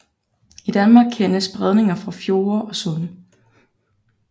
I Danmark kendes bredninger fra fjorde og sunde